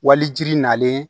Walijiri nalen